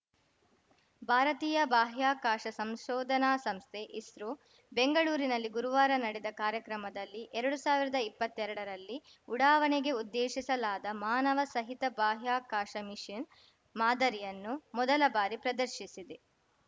ಭಾರತೀಯ ಬಾಹ್ಯಾಕಾಶ ಸಂಶೋಧನಾ ಸಂಸ್ಥೆಇಸ್ರೋ ಬೆಂಗಳೂರಿನಲ್ಲಿ ಗುರುವಾರ ನಡೆದ ಕಾರ್ಯಕ್ರಮದಲ್ಲಿ ಎರಡು ಸಾವಿರ್ದಾ ಇಪ್ಪತ್ತೆರಡರಲ್ಲಿ ಉಡಾವಣೆಗೆ ಉದ್ದೇಶಿಸಲಾದ ಮಾನವ ಸಹಿತ ಬಾಹ್ಯಾಕಾಶ ಮಿಶನ್‌ ಮಾದರಿಯನ್ನು ಮೊದಲ ಬಾರಿ ಪ್ರದರ್ಶಿಸಿದೆ